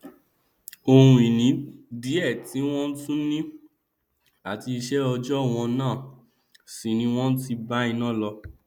oun ìní díẹ tí wọn tún ni àti iṣẹòòjọ wọn náà sì ni wọn ti bá iná lọ